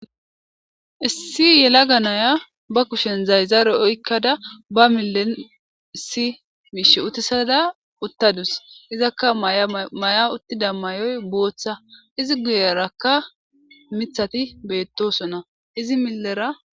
Issi yalaga nayiya ba kusheni zarizare oyikada ba mile issi mishe utisada utadusi izaka maya maya utidayisi botha izi guyeraka mithati betosona izi milera